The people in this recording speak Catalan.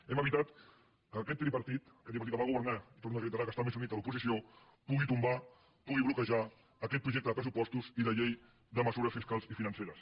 hem evitat que aquest tripartit aquest tripartit que va governar i ho torno a reiterar que està més unit a l’oposició pugui tombar pugui bloquejar aquest projecte de pressupostos i de llei de mesures fiscals i financeres